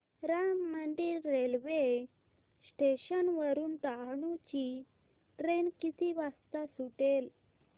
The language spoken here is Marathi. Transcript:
राम मंदिर रेल्वे स्टेशन वरुन डहाणू ची ट्रेन किती वाजता सुटेल